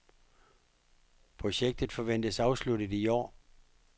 Projektet forventes afsluttet i år.